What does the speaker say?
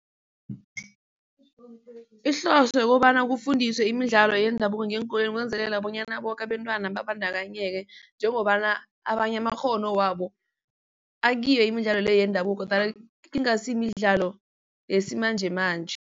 Ihloso yokobana kufundiswe imidlalo yendabuko ngeenkolweni kwenzelela bonyana boke abentwana babandakanyeke njengobana abanye amakghono wabo akiyo imidlalo le yendabuko, kodwana ingasi imidlalo yesimanjemanje.